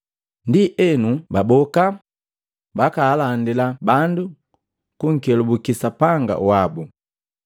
Ndienu baboka, bakaalandila bandu kunkelubuki Sapanga wabu.